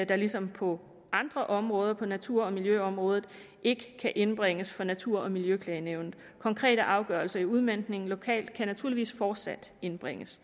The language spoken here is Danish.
der ligesom på andre områder på natur og miljøområdet ikke kan indbringes for natur og miljøklagenævnet konkrete afgørelser i udmøntningen lokalt kan naturligvis fortsat indbringes